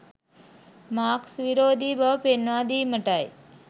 Marx විරෝධී බව පෙන්වා දීමටයි.